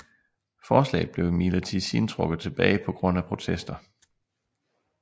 Forslaget blev imidlertid siden trukket tilbage på grund af protester